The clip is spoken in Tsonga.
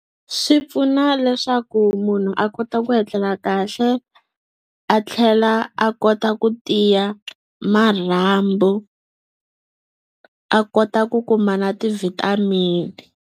Swi pfuna leswaku munhu a kota ku etlela kahle a tlhela a kota ku tiya marhambu a kota ku kuma na ti-vitamin-i.